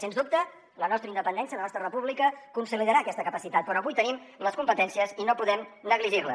sens dubte la nostra independència la nostra república en consolidarà aquesta capacitat però avui en tenim les competències i no podem negligir les